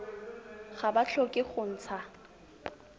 ga ba tlhoke go ntsha